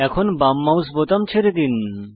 এখন বাম মাউস বোতাম ছেড়ে দিন